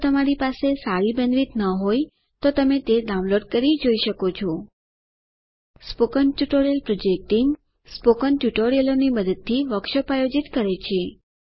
જો તમારી પાસે સારી બેન્ડવિડ્થ ન હોય તો તમે ડાઉનલોડ કરી તે જોઈ શકો છો spoken tutorial project team spoken ટ્યુટોરીયલોની મદદથી વર્કશોપ આયોજિત કરે છે